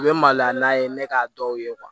U bɛ mali la n'a ye ne k'a dɔw ye